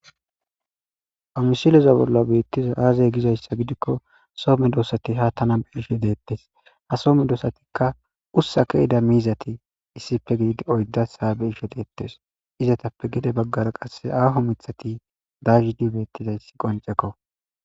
Ha misileza bolla betizay aze gizaysa gidikon so medosati ha tana bey'she detes, ha so medosatika ussa ke'ida mizati gidid oydasi ha beyishe detes. Izetappe gede bagara qase aaho mithati dayid betizaysi qoncekko .